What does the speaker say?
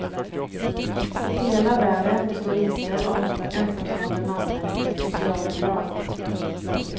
Hela världen består inte av ensamstående mammor med socialbidrag.